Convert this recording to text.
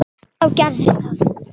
En þá gerðist það.